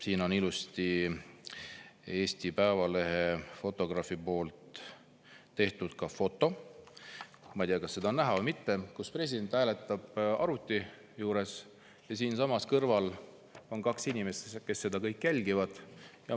See on Eesti Päevalehe fotograafi tehtud foto – ma ei tea, kas seda on näha või mitte –, kus president hääletab arvuti abil ja siinsamas kõrval on kaks inimest, kes seda jälgivad.